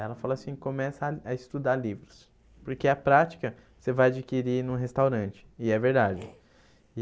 Ela falou assim, começa a estudar livros, porque a prática você vai adquirir num restaurante, e é verdade.